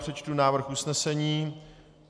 Přečtu návrh usnesení.